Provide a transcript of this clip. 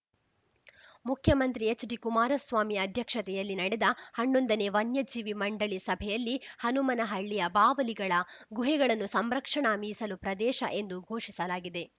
ಮುಖ್ಯಮಂತ್ರಿ ಎಚ್‌ಡಿ ಕುಮಾರಸ್ವಾಮಿ ಅಧ್ಯಕ್ಷತೆಯಲ್ಲಿ ನಡೆದ ಹನ್ನೊಂದನೇ ವನ್ಯಜೀವಿ ಮಂಡಳಿ ಸಭೆಯಲ್ಲಿ ಹನುಮನಹಳ್ಳಿಯ ಬಾವಲಿಗಳ ಗುಹೆಗಳನ್ನು ಸಂರಕ್ಷಣಾ ಮೀಸಲು ಪ್ರದೇಶ ಎಂದು ಘೋಷಿಸಲಾಗಿದೆ